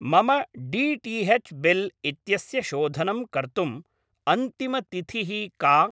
मम DTH. Bill इत्यस्य शोधनं कर्तुम् अन्तिमतिथिः का?